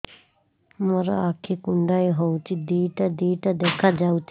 ମୋର ଆଖି କୁଣ୍ଡାଇ ହଉଛି ଦିଇଟା ଦିଇଟା ଦେଖା ଯାଉଛି